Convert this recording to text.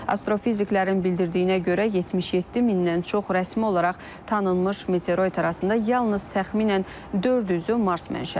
Astrofiziklərin bildirdiyinə görə 77 mindən çox rəsmi olaraq tanınmış meteoroid arasında yalnız təxminən 400-ü Mars mənşəlidir.